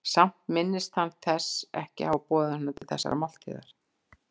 Samt minntist hann þess ekki að hafa boðið honum til þessarar máltíðar.